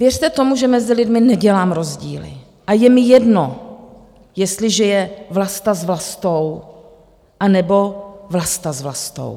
Věřte tomu, že mezi lidmi nedělám rozdíly a je mi jedno, jestliže je Vlasta s Vlastou anebo Vlasta s Vlastou.